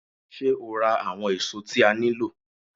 Ṣé́ o ra àwọn èso tí a nílò?